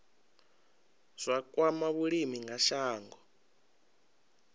zwa kwama vhulimi kha shango